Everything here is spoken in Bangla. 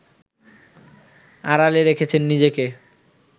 আড়ালে রেখেছেন নিজেকে